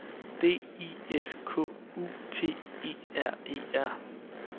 D I S K U T E R E R